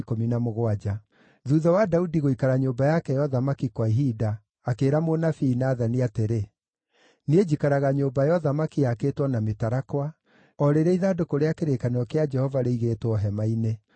Thuutha wa Daudi gũikara nyũmba yake ya ũthamaki kwa ihinda, akĩĩra mũnabii Nathani atĩrĩ, “Niĩ njikaraga nyũmba ya ũthamaki yakĩtwo na mĩtarakwa, o rĩrĩa ithandũkũ rĩa kĩrĩkanĩro kĩa Jehova rĩigĩtwo hema-inĩ.”